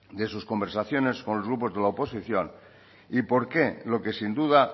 de sus conversaciones con los grupos de la oposición y por qué lo que sin duda